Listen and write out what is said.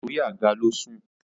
orí àga ló sùn